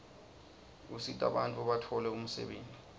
usita bantfu batfole umsebenti